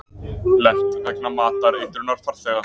Lent vegna matareitrunar farþega